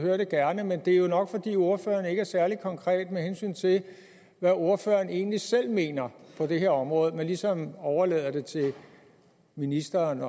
jeg det gerne men det er jo nok fordi ordføreren ikke er særlig konkret med hensyn til hvad ordføreren egentlig selv mener på det her område men ligesom overlader det til ministeren